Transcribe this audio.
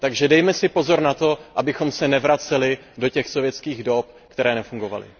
Takže dejme si pozor na to, abychom se nevraceli do těch sovětských dob, které nefungovaly.